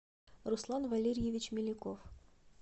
руслан валерьевич меляков